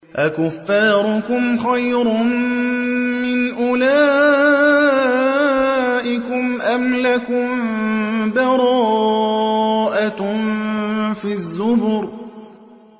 أَكُفَّارُكُمْ خَيْرٌ مِّنْ أُولَٰئِكُمْ أَمْ لَكُم بَرَاءَةٌ فِي الزُّبُرِ